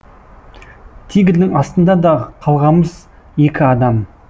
тигрдың астында да қалғамыз екі адам